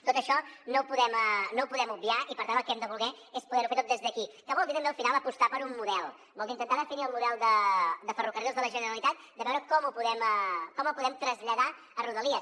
tot això no ho podem obviar i per tant el que hem de voler és poder ho fer tot des d’aquí que vol dir també al final apostar per un model vol dir intentar definir el model de ferrocarrils de la generalitat de veure com el podem traslladar a rodalies